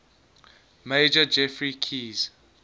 major geoffrey keyes